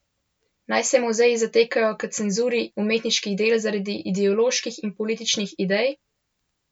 Naj se muzeji zatekajo k cenzuri umetniških del zaradi ideoloških in političnih idej?